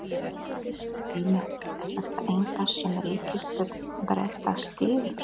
Heimir: Er þetta eitthvað sem ríkisstjórn Breta styður?